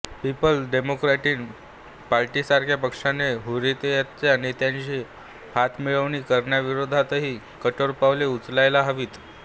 people's Democratic पार्टीसारख्या पक्षाने हुरियतच्या नेत्यांशी हातमिळवणी करण्याविरोधातही कठोर पावले उचलायला हवीत